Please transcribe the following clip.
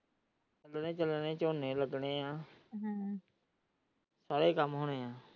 ਜਦੋਂ ਝੂਣੇ ਲੱਗ ਨੇ ਹੈ ਤਾ ਸਾਰੇ ਕੰਮ ਹੋਣੇ ਹੈ।